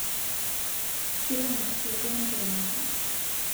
Kitangasutwa ntemata